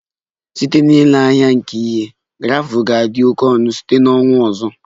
Site n'ile anya nke ihe, gravel ga-adị oke ọnụ site na ọnwa ọzọ